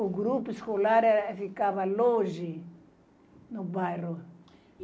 O grupo escolar eh ficava longe do bairro.